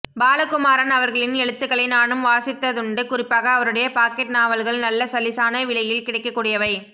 பாலகுமாரன் அவர்களின் எழுத்துக்களை நானும் வாசித்ததுண்டு குறிப்பாக அவருடைய பாக்கெட் நாவல்கள் நல்ல சல்லிசான விலையில் கிடைக்கக் கூடியவை